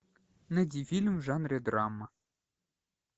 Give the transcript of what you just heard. найди фильм в жанре драма